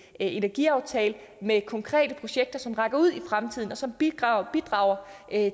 energiaftale med konkrete projekter som rækker ud i fremtiden og som bidrager bidrager